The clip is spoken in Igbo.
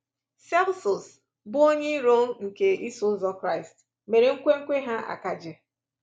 Celsus, bụ́ onye iro nke Iso Ụzọ Kraịst, mere nkwenkwe ha akaje.